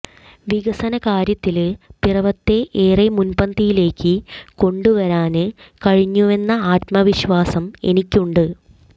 വികസന കാര്യത്തില് പിറവത്തെ ഏറെ മുന്പന്തിയിലേക്ക് കൊണ്ടുവരാന് കഴിഞ്ഞുവെന്ന ആത്മവിശ്വാസം എനിക്കുണ്ട്